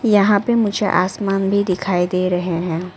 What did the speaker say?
यहां पे मुझे आसमान भी दिखाई दे रहे हैं।